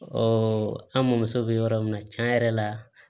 an mɔmuso bɛ yɔrɔ min na tiɲɛ yɛrɛ la